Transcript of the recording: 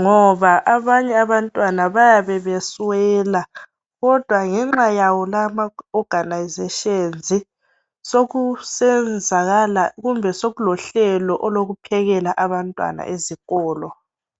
ngoba abanye abantwana bayabe beswela kodwa ngenxa yawo lawa amaorganisations sokusenzakala kumbe sokulohlelo olokuphekela abantwana esikolo.